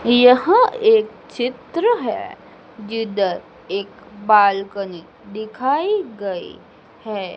यहां एक चित्र है जिधर एक बालकनी दिखाई गई हैं।